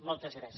moltes gràcies